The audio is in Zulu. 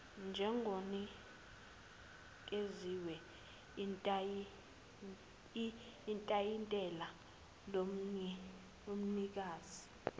njengonikezwe itayitela lomnikazi